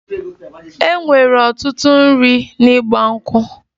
E nwere ọtụtụ nri n'Igba nkwu'